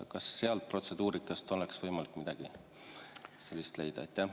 Kas protseduurikast oleks võimalik midagi selle kohta leida?